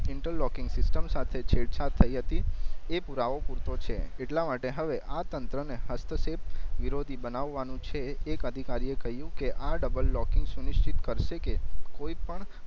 interlocking system સાથે છેડછાડ થઈ હતી એ પુરાવો પૂરતો છે એટલા માટે હવે આ તંત્ર ને હસ્તસેપ વિરોધી બનાવાનું છે એક અધિકારી એ કહિયું કે આ ડબલ લોકિનગ સુનિશ્ચિત કર્સે કે કોઈ પણ